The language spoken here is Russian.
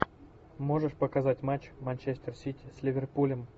можешь показать матч манчестер сити с ливерпулем